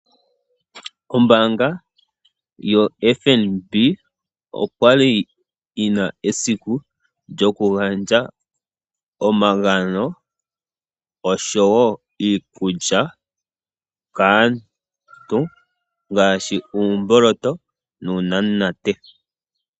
Ombaanga yaFNB okwa li yi na esiku lyokugandja omagano oshowo iikulya kaantu ongaashi uumboloto nuunamunate.